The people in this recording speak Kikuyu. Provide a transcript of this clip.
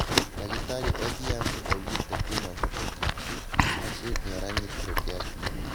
Dagĩtarĩ Odhiambo augĩte kwĩna ũhotekeku Stacy Nĩaranyitĩtwo kĩahinya